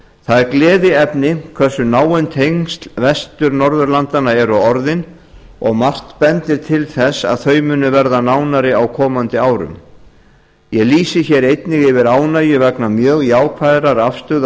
það er gleðiefni hversu náin tengsl vestur norðurlandanna eru orðin og margt bendir til þess að þau muni verða nánari á komandi árum ég lýsi hér einnig yfir ánægju vegna mjög jákvæðrar afstöðu